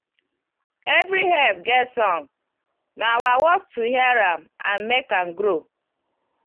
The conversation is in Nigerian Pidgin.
every herb get song na our work to hear am and make am grow.